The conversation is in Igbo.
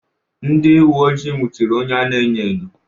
Ndị uwe ojii nwụchiri onye a na-enyo enyo.